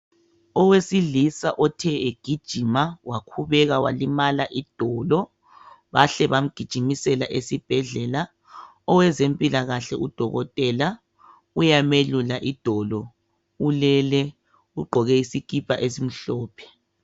Owesilisa othe egijima wakhubeka walimala idolo bahle bamgijimisela esibhedlela. Owezempilakahle udokotela uyamelula idolo, ulele ugqoke isikipa esimhlophe.